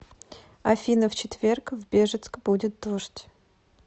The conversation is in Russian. афина в четверг в бежецк будет дождь